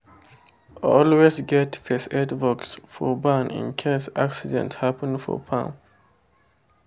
always get first aid box for barn in case accident happen for farm.